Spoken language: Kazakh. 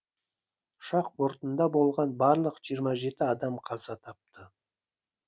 ұшақ бортында болған барлық жиырма жеті адам қаза тапты